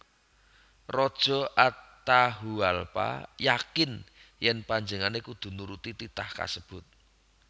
Raja Atahualpa yakin yèn panjenengané kudu nuruti titah kasebut